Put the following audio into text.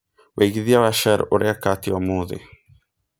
wĩĩgĩthĩa wa shell ũreka atĩa ũmũthi